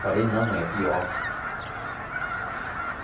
Falei, não, mãe, é pior.